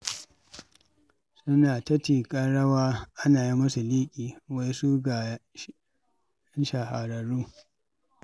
Suna ta tiƙar rawa ana yi musu liƙi, wai su ga shahararru.